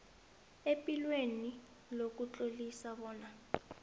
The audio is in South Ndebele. ephikweni lokutlolisa bona